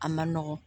A man nɔgɔn